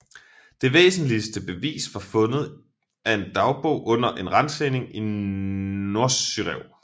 Det væsentligste bevis var fundet af en dagbog under en ransagning i Nosyrev